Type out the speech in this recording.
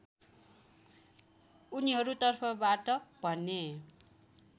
उनीहरुतर्फबाट भने